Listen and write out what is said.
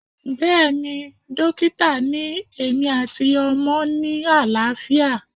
Bẹ́ẹ̀ni, dókítà ni èmi àti ọmọ ni àlàáfíà